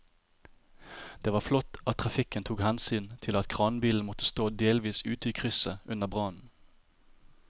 Det var flott at trafikken tok hensyn til at kranbilen måtte stå delvis ute i krysset under brannen.